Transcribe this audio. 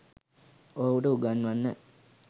ඔහුට උගන්වන්න.